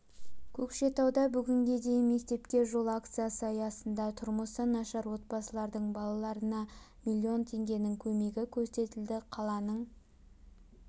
көкшетауда бүгінге дейін мектепке жол акциясы аясында тұрмысы нашар отбасылардың балаларына миллион теңгенің көмегі көрсетілді қаланың